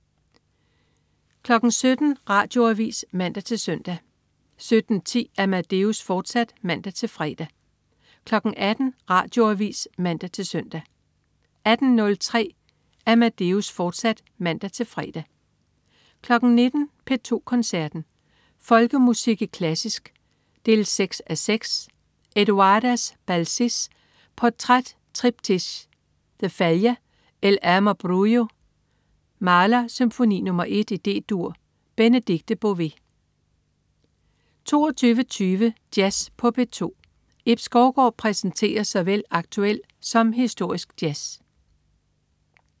17.00 Radioavis (man-søn) 17.10 Amadeus, fortsat (man-fre) 18.00 Radioavis (man-søn) 18.03 Amadeus, fortsat (man-fre) 19.00 P2 Koncerten. Folkemusik i klassisk 6:6. Eduardas Balsys: Portraits, triptych. De Falla: El amor brujo. Mahler: Symfoni nr. 1, D-dur. Benedikte Bové 22.20 Jazz på P2. Ib Skovgaard præsenterer såvel aktuel som historisk jazz